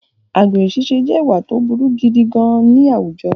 Àgbèrè ṣiṣẹ́ je ìwà tó burú gidi gan-an ní àwùjọ